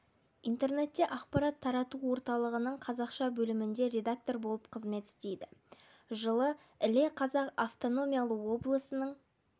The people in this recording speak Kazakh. интернетте ақпарат тарату орталығының қазақша бөлімінде редактор болып қызмет істейді жылы іле қазақ автономиялы облысының